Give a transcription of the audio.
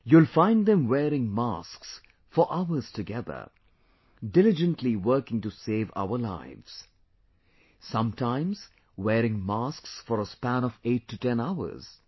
You will find them wearing masks for hours together, diligently working to save our lives sometimes wearing masks for a span of eight to ten hours